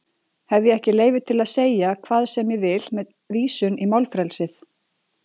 Hef ég ekki leyfi til að segja hvað sem ég vil með vísun í málfrelsið?